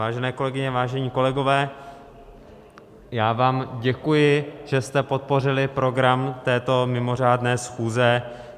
Vážené kolegyně, vážení kolegové, já vám děkuji, že jste podpořili program této mimořádné schůze.